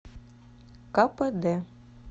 кпд